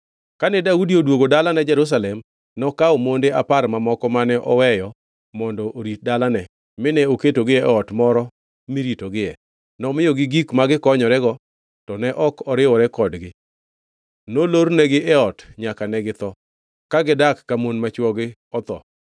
Kane Daudi odwogo dalane Jerusalem, nokawo monde apar mamoko mane oweyo mondo orit dalane, mine oketogi e ot moro miritogie. Nomiyogi gik ma gikonyorego, to ne ok oriwore kodgi. Nolornegi e ot nyaka ne githo, ka gidak ka mon ma chwogi otho.